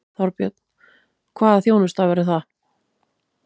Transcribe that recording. Þorbjörn: Hvaða þjónusta verður það?